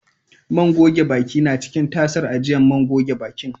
Man goge baki na ciki tasar ajiyan man gogen bakin.